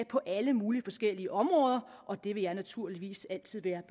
på alle mulige forskellige områder og det vil jeg naturligvis altid være